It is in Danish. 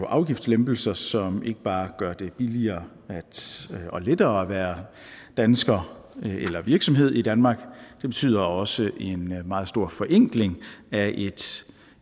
afgiftslempelser som ikke bare gør det billigere og lettere at være dansker eller virksomhed i danmark det betyder også en meget stor forenkling af et